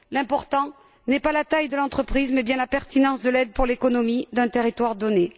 L'important n'est pas la taille de l'entreprise, mais bien la pertinence de l'aide pour l'économie d'un territoire donné.